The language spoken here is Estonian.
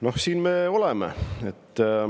Noh, siin me oleme.